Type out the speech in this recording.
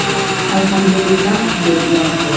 Alhamdulillah”, deb yozdi .